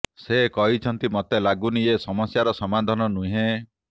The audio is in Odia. ସେ କହିଛନ୍ତି ମୋତେ ଲାଗୁନି ଏହା ସମସ୍ୟାର ସମାଧାନ ନୁହେଁ